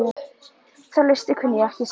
Þá list kunni ég ekki sagði